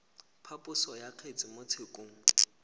phaposo ya kgetse mo tshekong